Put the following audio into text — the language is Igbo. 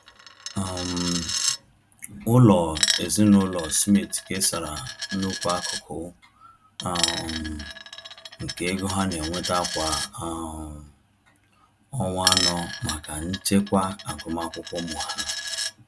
um Ụlọ ezinaụlọ Smith kesara nnukwu akụkụ um nke ego ha na-enweta kwa um ọnwa anọ maka nchekwa agụmakwụkwọ ụmụ ha.